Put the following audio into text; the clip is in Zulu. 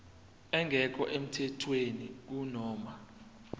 engekho emthethweni kunoma